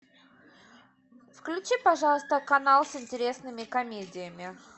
включи пожалуйста канал с интересными комедиями